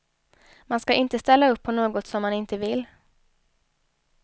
Man ska inte ställa upp på något som man inte vill.